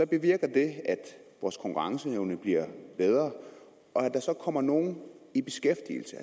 bevirker at vores konkurrenceevne bliver bedre og at der kommer nogle i beskæftigelse